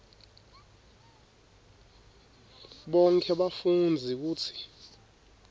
bonkhe bafundzi kutsi